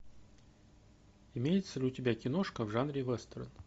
имеется ли у тебя киношка в жанре вестерн